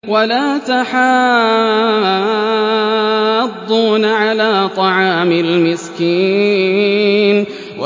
وَلَا تَحَاضُّونَ عَلَىٰ طَعَامِ الْمِسْكِينِ